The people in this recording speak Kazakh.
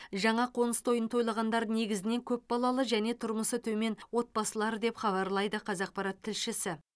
жаңа қоңыс тойын тойлағандар негізінен көпбалалы және тұрмысы төмен отбасылар деп хабарлайды қазақпарат тілшісі